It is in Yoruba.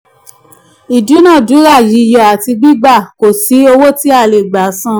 ìdúnàándúrà yíyọ àti gbigba kọ si owó tí a le gba san.